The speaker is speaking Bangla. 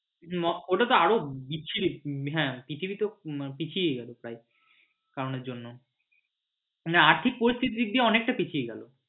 হম ওটাতো আরও বিচ্ছিরি হ্যাঁ পৃথিবী তো পিছিয়ে গেলো প্রায় এই কারনের জন্য মানে আর্থিক পরিস্থিতির দিক দিয়ে অনেকটাই পিছিয়ে গেলো।